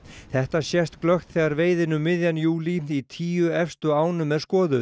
þetta sést glöggt þegar veiðin um miðjan júlí í tíu efstu ánum er skoðuð